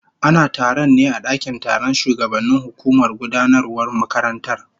Ana taron ne a dakin taron shugabannin hukumar gudanarwar makarantar